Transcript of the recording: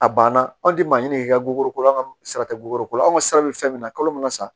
A banna anw tɛ maɲinin k'i ka bubako la an ka sara tɛ buluko la anw ka sira bɛ fɛn min na kalo min na sa